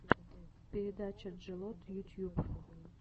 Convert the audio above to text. передача джелот ютьюб